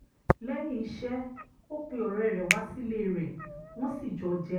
lẹ́yìn iṣẹ́ ó pe ọ̀rẹ́ rẹ̀ wá sílé rẹ̀ wọ́n sì jọ jẹun